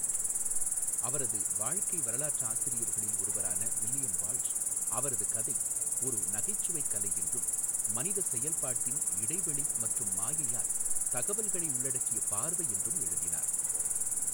அவரது வாழ்க்கை வரலாற்றாசிரியர்களில் ஒருவரான வில்லியம் வால்ஷ், அவரது கதை ஒரு நகைச்சுவைக் கலை என்றும், மனித செயல்பாட்டின் இடைவெளி மற்றும் மாயையால் தகவல்களை உள்ளடக்கிய பார்வை என்றும் எழுதினார்.